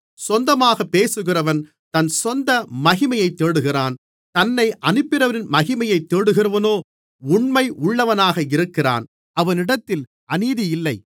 சொந்தமாக பேசுகிறவன் தன் சொந்த மகிமையைத் தேடுகிறான் தன்னை அனுப்பினவரின் மகிமையைத் தேடுகிறவனோ உண்மை உள்ளவனாக இருக்கிறான் அவனிடத்தில் அநீதியில்லை